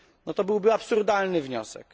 To byłby absurdalny wniosek.